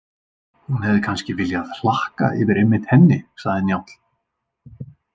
Hún hefði kannski viljað hlakka yfir einmitt henni, sagði Njáll.